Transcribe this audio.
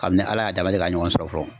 Kabini ala y'a da a ma deli ka ɲɔgɔn sɔrɔ fɔlɔ